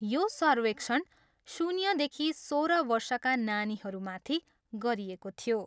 यो सर्वेक्षण शून्यदेखि सोह्र वर्षका नानीहरूमाथि गरिएको थियो।